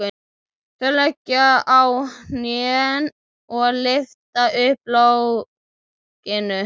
Þau leggjast á hnén og lyfta upp lokinu.